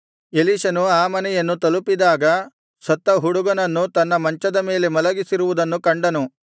ಎಲೀಷನು ಆ ಮನೆಯನ್ನು ತಲುಪಿದಾಗ ಸತ್ತ ಹುಡುಗನನ್ನು ತನ್ನ ಮಂಚದ ಮೇಲೆ ಮಲಗಿಸಿರುವುದನ್ನು ಕಂಡನು